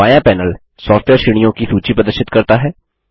बायाँ panel software श्रेणियों की सूची प्रदर्शित करता है